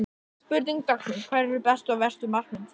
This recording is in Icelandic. Spurning dagsins: Hverjir eru bestu og verstu markmenn tímabilsins?